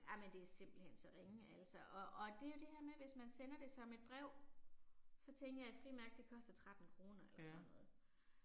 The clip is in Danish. Jamen det er simpelthen så ringe altså, og og det er jo det her med hvis man sender det som et brev. Så tænker jeg et frimærke det koster 13 kroner eller sådan noget